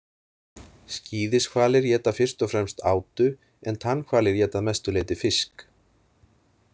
Skíðishvalir éta fyrst og fremst átu en tannhvalir éta að mestu leyti fisk.